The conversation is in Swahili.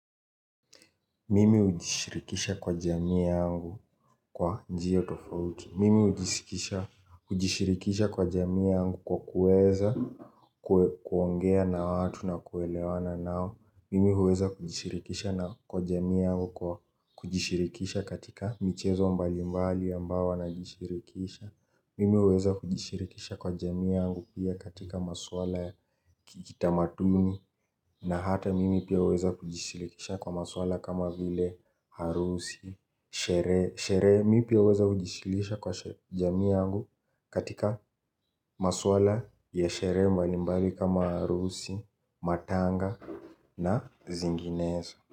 Mimi hujishirikisha kwa jamii yangu kwa njia tofauti. Mimi hujishirikisha hujishirikisha kwa jamii yangu kwa kuweza kuongea na watu na kuelewana nao. Mimi huweza kujishirikisha kwa jamii yangu kwa kujishirikisha katika michezo mbali mbali ambayo huwa najishirikisha. Mimi huweza kujishirikisha kwa jamii yangu pia katika maswala ya kitamaduni. Na hata mimi pia huweza kujishirikisha kwa maswala kama vile harusi, sherehe. Mimi pia huweza kujishirikisha kwa jamii yangu katika maswala ya sherehe mbalimbali kama harusi, matanga na zinginezo.